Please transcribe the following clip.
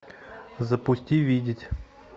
запусти видеть